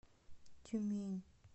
тюмень